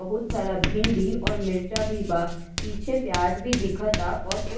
बहुत सारा भिंडी और मिर्चा भी बा। पीछे पियाज भी दिखताा और कुछ --